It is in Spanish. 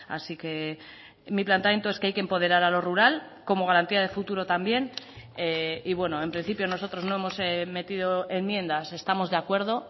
así que mi planteamiento es que hay que empoderar a lo rural como garantía de futuro también y bueno en principio nosotros no hemos metido enmiendas estamos de acuerdo